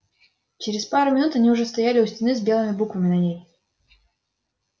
через пару минут они уже стояли у стены с белыми буквами на ней